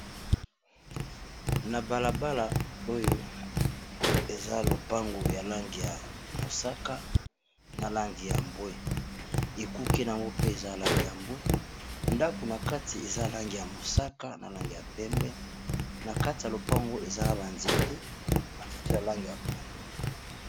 Na balabala oyo eza lopango ya lange ya mosaka, na lange ya mbwe, ekuke nayango pe eza alange ya mbwe, ndako na kati eza lange ya mosaka, na lange ya pembe, na kati ya lopango ezana banzete banzete ya lange ya pondu.